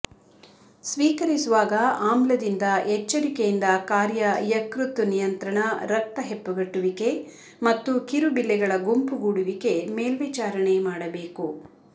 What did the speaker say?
ಸ್ವೀಕರಿಸುವಾಗ ಆಮ್ಲದಿಂದ ಎಚ್ಚರಿಕೆಯಿಂದ ಕಾರ್ಯ ಯಕೃತ್ತು ನಿಯಂತ್ರಣ ರಕ್ತ ಹೆಪ್ಪುಗಟ್ಟುವಿಕೆ ಮತ್ತು ಕಿರುಬಿಲ್ಲೆಗಳ ಗುಂಪುಗೂಡುವಿಕೆ ಮೇಲ್ವಿಚಾರಣೆ ಮಾಡಬೇಕು